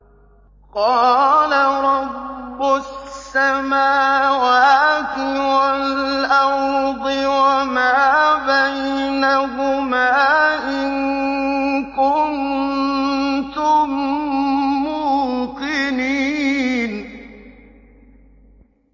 قَالَ رَبُّ السَّمَاوَاتِ وَالْأَرْضِ وَمَا بَيْنَهُمَا ۖ إِن كُنتُم مُّوقِنِينَ